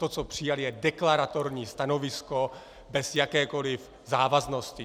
To, co přijali, je deklaratorní stanovisko bez jakékoliv závaznosti.